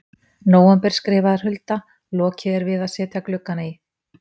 nóvember skrifar Hulda: Lokið er við að setja gluggana í.